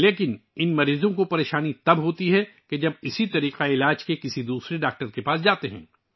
لیکن ایسے مریضوں کو اس وقت مشکلات کا سامنا کرنا پڑتا ہے جب وہ اسی نظام کے کسی دوسرے ڈاکٹر کے پاس جاتے ہیں